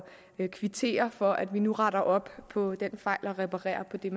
at kvittere for at vi nu retter op på den fejl og reparerer på det